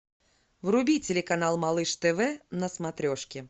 вруби телеканал малыш тв на смотрешке